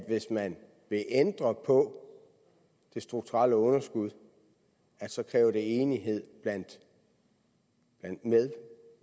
at hvis man vil ændre på det strukturelle underskud så kræver det enighed blandt andet med